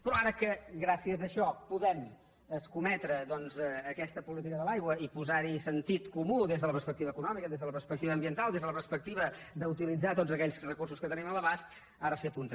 però ara que gràcies a això podem escometre aquesta política de l’aigua i posar hi sentit comú des de la perspectiva eco nòmica des de la perspectiva ambiental des de la perspectiva d’utilitzar tots aquells recursos que tenim a l’abast ara s’hi apunten